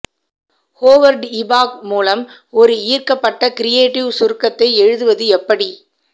Howard இபாக் மூலம் ஒரு ஈர்க்கப்பட்ட கிரியேட்டிவ் சுருக்கத்தை எழுதுவது எப்படி